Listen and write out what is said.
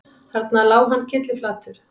Þarna lá hann kylliflatur